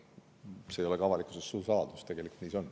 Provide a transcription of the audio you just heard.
See ei ole ka avalikkuse eest suur saladus, tegelikult nii see on.